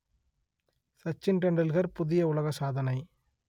சச்சின் டெண்டுல்கர் புதிய உலக சாதனை